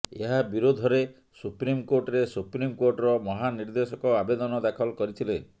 ଏହା ବିରୋଧରେ ସୁପ୍ରିମ କୋର୍ଟରେ ସୁପ୍ରିମ କୋର୍ଟର ମହାନିର୍ଦ୍ଦେଶକ ଆବେଦନ ଦାଖଲ କରିଥିଲେ